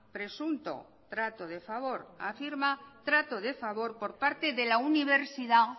presunto trato de favor afirma trato de favor por parte de la universidad